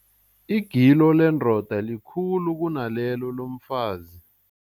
Igilo lendoda likhulu kunalelo lomfazi.